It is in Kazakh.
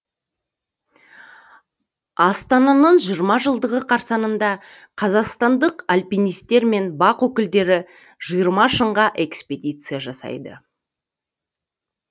астананың жиырма жылдығы қарсаңында қазақстандық альпинистер мен бақ өкілдері жиырма шыңға экспедиция жасайды